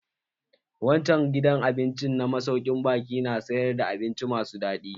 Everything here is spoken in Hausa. Wancan gidan abincin na masaukin baƙi na sayar da abinci mai daɗi.